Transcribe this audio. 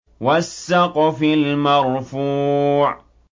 وَالسَّقْفِ الْمَرْفُوعِ